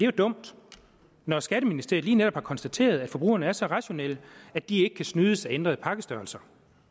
jo dumt når skatteministeriet lige netop har konstateret at forbrugerne er så rationelle at de ikke kan snydes af en ændret pakkestørrelse